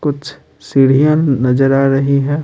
कुछ सीढ़ियाँ नजर आ रही है।